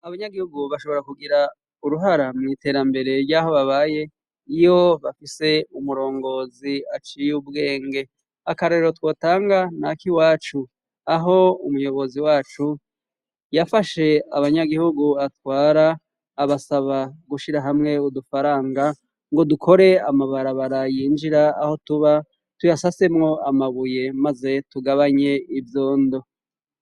Abanyagihugu bashobora kugira uruhara mw' iterambere ry'aho babaye ,iyo bafise umurongozi aciye ubwenge ,akarorero twotanga na kiwacu ,aho umuyobozi wacu yafashe abanyagihugu atwara abasaba gushira hamwe udufaranga ngo dukore amabarabara yinjira aho tuba tuyasasemwo amabuye maze tugabanye ivyondo.